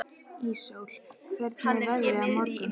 Íssól, hvernig er veðrið á morgun?